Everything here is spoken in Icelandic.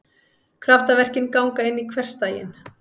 Kraftaverkin ganga inn í hversdaginn.